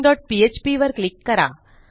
missingphpवर click करा